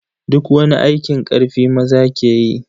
Duk wani aikin karfi maza ke yi.